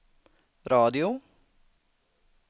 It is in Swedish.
radio